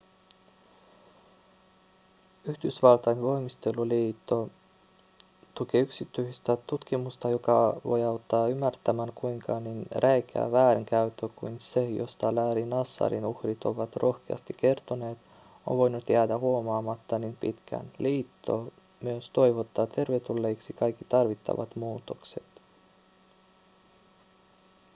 yhdysvaltain voimisteluliitto tukee yksityistä tutkimusta joka voi auttaa ymmärtämään kuinka niin räikeä väärinkäyttö kuin se josta larry nassarin uhrit ovat rohkeasti kertoneet on voinut jäädä huomaamatta niin pitkään liitto myös toivottaa tervetulleiksi kaikki tarvittavat muutokset